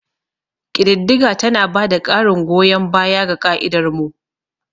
Ƙididdiga tana ba da ƙarin goyon baya ga ƙa'idar mu.